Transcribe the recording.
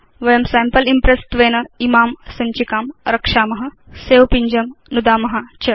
वयं sample impress त्वेन इमां सञ्चिकां रक्षाम सवे पिञ्जं नुदाम च